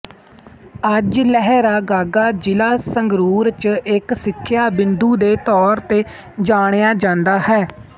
ਅੱਜ ਲਹਿਰਾਗਾਗਾ ਜ਼ਿਲਾ ਸੰਗਰੂਰ ਚ ਇੱਕ ਸਿੱਖਿਆ ਬਿੰਦੂ ਦੇ ਤੌਰ ਤੇ ਜਾਣਿਆ ਜਾਂਦਾ ਹੈ